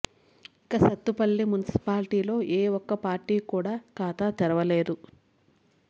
ఇక సత్తుపల్లి మున్సిపాలిటీలో ఏ ఒక్క పార్టీ కూడా ఖాతా తెరవలేదు